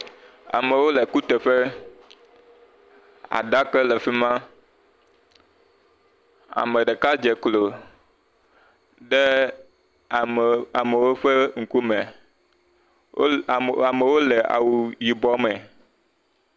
Amewo le kuteƒe, aɖaka le fi ma, ame ɖeka dze klo ɖe amewo ƒe ŋkume, wole, amewo le awu yibɔ me.